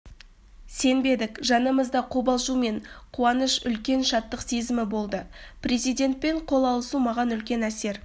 сенбедік жанымызда қобалжу мен қуаныш үлкен шаттық сезімі болды президентпен қол алысу маған үлкен әсер